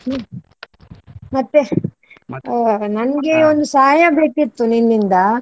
ಹ್ಮ್ ಮತ್ತೆ ನನಗೆ ಒಂದು ಸಹಾಯ ಬೇಕಿತ್ತು ನಿನ್ನಿಂದ.